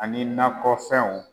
Ani nakɔfɛnw